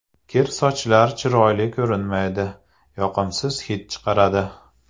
Kir sochlar chiroyli ko‘rinmaydi, yoqimsiz hid chiqaradi.